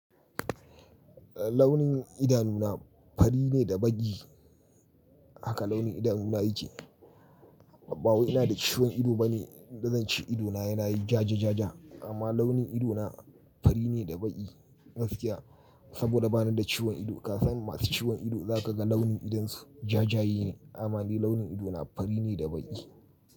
Launin idanu na fari ne da baƙi haka launin idanu na yake. Bawai ina da ciwon ido bane da zance ido na yana yi ja ja ja ja amma launin ido na fari ne da baƙi gaskiya saboda bani da ciwon ido. Ka san masu ciwon ido zaka ga launin idansu ja jayene. Amma ni launin ido na fari ne da baƙi.